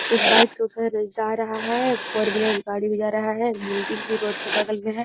एक बाइक से उधर जा रहा है फोर व्हीलर गाड़ी भी जा रहा है बिल्डिंग भी रोड के बगल में है।